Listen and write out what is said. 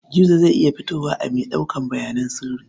Gizo zai iya fitowa a mai ɗaukar bayanan sirri.